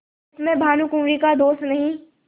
इसमें भानुकुँवरि का दोष नहीं